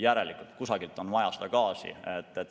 Järelikult kusagilt on vaja seda gaasi hankida.